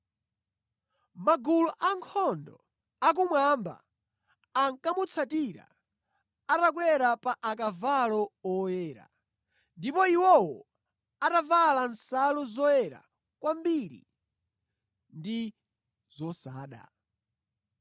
Magulu ankhondo akumwamba ankamutsatira atakwera pa akavalo oyera, ndipo iwowo atavala nsalu zoyera kwambiri ndi zosada.